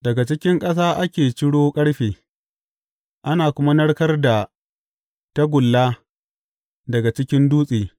Daga cikin ƙasa ake ciro ƙarfe, ana kuma narkar da tagulla daga cikin dutse.